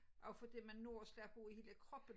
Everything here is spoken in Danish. Også fordi man når at slappe af i hele kroppen